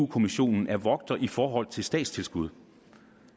kommissionen er vogter i forhold til statstilskuddet